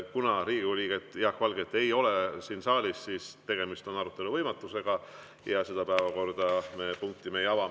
Kuna Riigikogu liiget Jaak Valget ei ole siin saalis, siis on tegemist arutelu võimatusega ja seda päevakorrapunkti me ei ava.